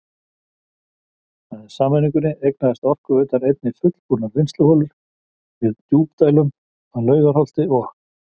Með sameiningunni eignaðist Orkuveitan einnig fullbúnar vinnsluholur með djúpdælum að Laugarholti og